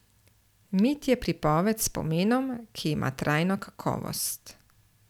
Mit je pripoved s pomenom, ki ima trajno kakovost.